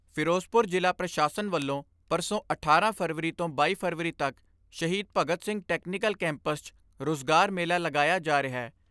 ਫਿਰੋਜ਼ਪੁਰ ਜ਼ਿਲ੍ਹਾ ਪ੍ਰਸ਼ਾਸਨ ਵੱਲੋਂ ਪਰਸੋਂ ਅਠਾਰਾਂ ਫਰਵਰੀ ਤੋਂ ਬਾਈ ਫਰਵਰੀ ਤੱਕ ਸ਼ਹੀਦ ਭਗਤ ਸਿੰਘ ਟੈਕਨੀਕਲ ਕੈਂਪਸ 'ਚ ਰੁਜ਼ਗਾਰ ਮੇਲਾ ਲਗਾਇਆ ਜਾ ਰਿਹੈ।